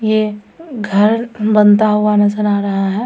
ये घर बनता हुआ नजर आ रहा है।